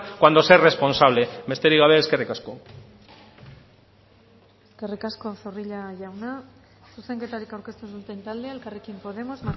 cuando se es responsable besterik gabe eskerrik asko eskerrik asko zorrilla jauna zuzenketarik aurkeztu ez duten taldea elkarrekin podemos